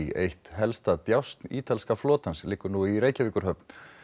eitt helsta djásn ítalska flotans liggur nú í Reykjavíkurhöfn